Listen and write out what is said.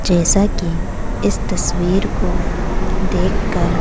जैसा की इस तस्वीर को देखकर--